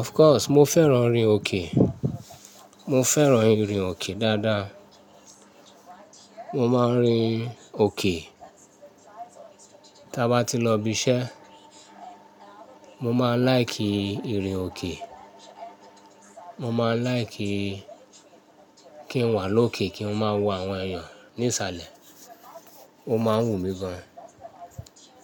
Of course mo fẹ́ràn orin òkè, mo fẹ́ràn ìrìn òkè dáadáa. Mo máa ń rin òkè, tí a bá ti lọ ibi iṣẹ́, mo máa n láìkí ìrìn òkè, mo máa n láìkí kí n wà lókè kí n máa wo àwọn èèyàn ní ìsàlẹ̀, ó máa ń wù mí gan.